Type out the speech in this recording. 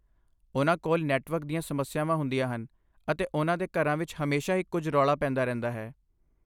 ਉਹਨਾਂ ਕੋਲ ਨੈੱਟਵਰਕ ਦੀਆਂ ਸਮੱਸਿਆਵਾਂ ਹੁੰਦੀਆਂ ਹਨ, ਅਤੇ ਉਹਨਾਂ ਦੇ ਘਰਾਂ ਵਿੱਚ ਹਮੇਸ਼ਾ ਹੀ ਕੁਝ ਰੌਲਾ ਪੈਂਦਾ ਰਹਿੰਦਾ ਹੈ।